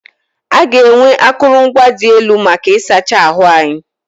A ga-enwe akụrụngwa dị elu maka ịsacha ahụ anyị.